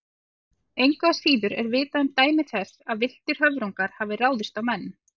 Engu að síður er vitað um dæmi þess að villtir höfrungar hafi ráðist á menn.